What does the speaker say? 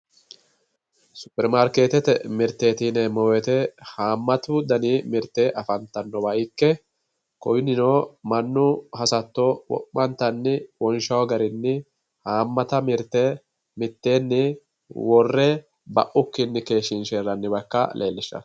Superimaarkeetete mirteeti yinemmo woyiite haamatu dani mirt afantannowa ikke kunino mannu hasatto wo'mantanni wonshaa garinni haamata mirte mitteenni worre baukkinni keeshshinshayi raga ikka leellishshanno.